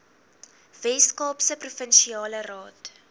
weskaapse provinsiale raad